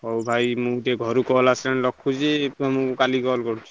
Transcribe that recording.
ହଉ ଭୟ ମୁଁ ଟିକେ ଘରୁ call ଆସିଲାଣି ରଖୁଛି ମୁଁ କାଲି call କରୁଛି।